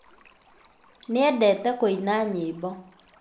Nĩendete kũĩna nyĩmbo.